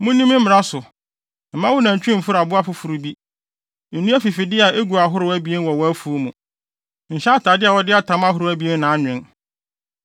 “ ‘Munni me mmara so. “ ‘Mma wo nantwi mforo aboa foforo bi. “ ‘Nnua afifide a egu ahorow abien wɔ wʼafuw mu. “ ‘Nhyɛ atade a wɔde atam ahorow abien na anwen.